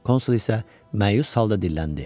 Konsul isə məyus halda dilləndi.